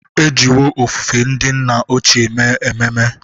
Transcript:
E jiwo ofufe ndị nna ochie mee ememe.